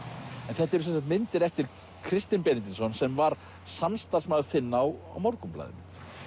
þetta eru myndir eftir Kristin Benediktsson sem var samstarfsmaður þinn á Morgunblaðinu